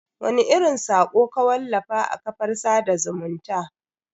Wani irin sako ka wallafa a kafar sada zumunta?